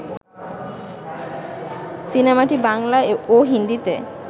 সিনেমাটি বাংলা ও হিন্দিতে